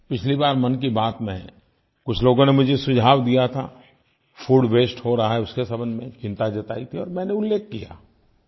पिछली बात मन की बात में कुछ लोगों ने मुझे सुझाव दिया था फूड वास्ते हो रहा है उसके संबंध में चिंता जताई थी और मैंने उल्लेख किया